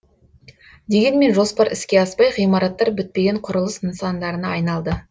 дегенмен жоспар іске аспай ғимараттар бітпеген құрылыс нысандарына айналды